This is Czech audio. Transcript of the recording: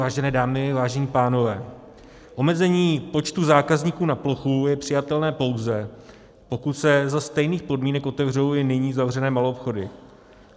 Vážené dámy, vážení pánové, omezení počtu zákazníků na plochu je přijatelné, pouze pokud se za stejných podmínek otevřou i nyní zavřené maloobchody.